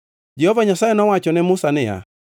Jehova Nyasaye nowacho ne Musa niya,